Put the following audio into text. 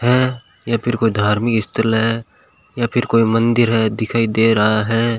है या फिर कोई धार्मिक स्थल है या फिर कोई मंदिर है दिखाई दे रहा है।